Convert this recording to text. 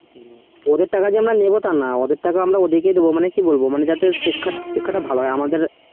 ওদের টাকা যে আমরা নিব তা না ওদের টাকা ওদেরকেই দিবো মানে কি বলবো শিক্ষা তা শিক্ষা তা যেন ভালো হয় আমাদের